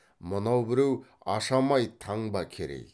мына біреу ашамай таңба керей